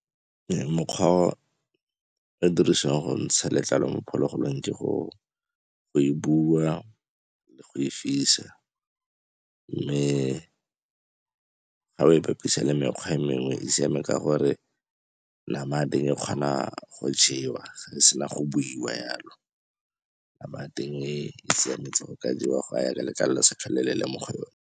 Mokgwa o e dirisiwang go ntsha letlalo mo phologolong ke go e bula, go e fisa. Mme ga o e bapisa le mekgwa e mengwe e siame ka gore nama ya teng e kgona go jewa ga e sena go buiwa yalo, nama ya teng e siametse go ka jewa go ya ka letlalo le se tlhole le le mo go yone.